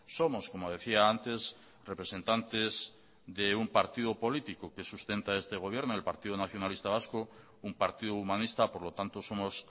somos como decía antes representantes de un partido político que sustenta este gobierno el partido nacionalista vasco un partido humanista por lo tanto somos